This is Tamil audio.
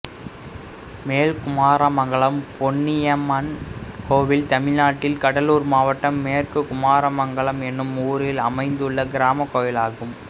மேல்குமாரமங்கலம் பொன்னியம்மன் கோயில் தமிழ்நாட்டில் கடலூர் மாவட்டம் மேல்குமாரமங்கலம் என்னும் ஊரில் அமைந்துள்ள கிராமக் கோயிலாகும்